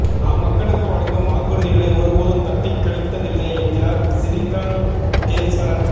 நாம் மக்களுக்கு வழங்கும் வாக்குறுதிகளை ஒருபோதும் தட்டிக் கழித்ததில்லை என்கிறார் சிறிரங்கேஸ்வரன்